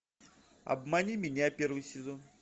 обмани меня первый сезон